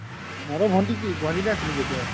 ভনটি কি গুৱাহাতি তে আছে নেকি এতিয়াও?